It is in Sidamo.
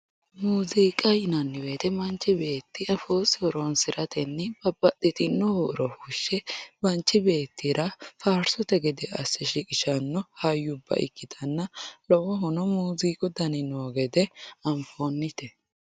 Muziiqa yinanni woyte manchi beetti afoosi horonsiratenni babbaxxitino huuro fushe manchi beettira faarsote gede asse shiqqishano hayyubba ikkittanna lowohuno muziiqu dani noo gede anfonite.